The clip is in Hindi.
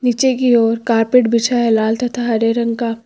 नीचे की ओर कारपेट बिछा है लाल तथा हरे रंग का।